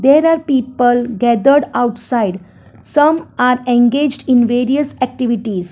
there are people gathered outside some are engaged in various activities.